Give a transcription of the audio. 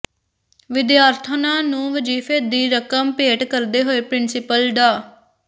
ਵਿਦਿਆਰਥਣਾਂ ਨੂੰ ਵਜ਼ੀਫੇ ਦੀ ਰਕਮ ਭੇਟ ਕਰਦੇ ਹੋਏ ਪ੍ਰਿੰਸੀਪਲ ਡਾ